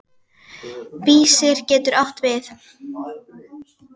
Vísir getur átt við